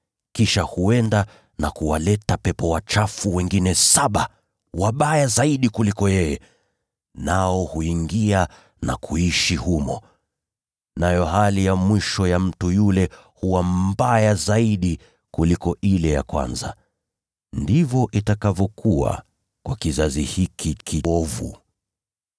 Kisha huenda na kuwaleta pepo wachafu wengine saba wabaya kuliko yeye mwenyewe, nao huingia na kukaa humo. Nayo hali ya mwisho ya yule mtu huwa ni mbaya kuliko ile ya kwanza. Ndivyo itakavyokuwa kwa kizazi hiki kiovu.”